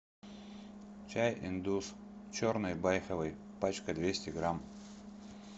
чай индус черный байховый пачка двести грамм